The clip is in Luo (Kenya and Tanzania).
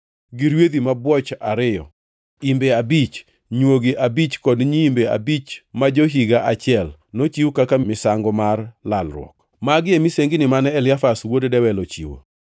gi rwedhi mabwoch ariyo, imbe abich, nywogi abich kod nyiimbe abich ma jo-higa achiel, nochiw kaka misango mar lalruok. Magi e misengini mane Eliasaf wuod Dewel ochiwo.